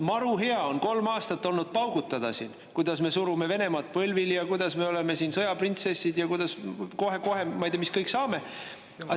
Maru hea on kolm aastat olnud siin paugutada, kuidas me surume Venemaa põlvili ja kuidas me oleme siin sõjaprintsessid ja kuidas me kohe-kohe ei tea mis kõik saame.